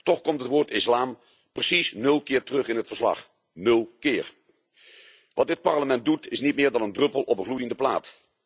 Toch komt het woord islam precies nul keer terug in het verslag, nul keer. Wat dit Parlement doet is niet meer dan een druppel op een gloeiende plaat.